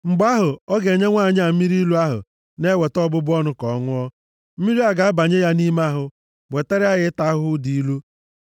Mgbe ahụ, ọ ga-enye nwanyị a mmiri ilu ahụ na-eweta ọbụbụ ọnụ ka ọ ṅụọ, mmiri a ga-abanye ya nʼime ahụ, wetara ya ịta ahụhụ dị ilu.